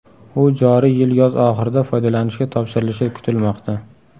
U joriy yil yoz oxirida foydalanishga topshirilishi kutilmoqda.